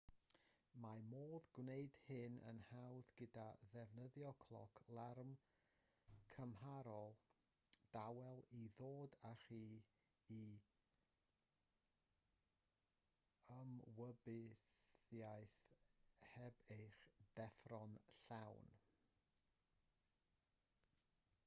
mae modd gwneud hyn yn hawdd gan ddefnyddio cloc larwm cymharol dawel i ddod â chi i ymwybyddiaeth heb eich deffro'n llawn